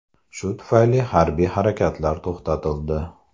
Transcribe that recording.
Shu tufayli harbiy harakatlar to‘xtatildi.